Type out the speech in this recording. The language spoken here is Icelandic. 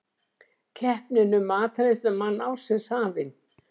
Keppnin um matreiðslumann ársins hafin